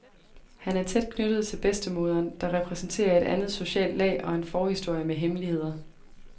Han er tæt knyttet til bedstemoderen, der repræsenterer et andet socialt lag og en forhistorie med hemmeligheder.